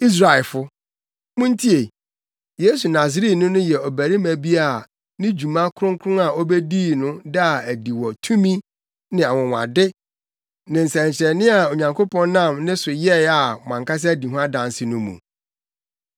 “Israelfo, muntie! Yesu Nasareni no yɛ ɔbarima bi a ne dwuma kronkron a obedii no daa adi wɔ tumi ne anwonwade ne nsɛnkyerɛnne a Onyankopɔn nam ne so yɛe a mo ankasa di ho adanse no mu.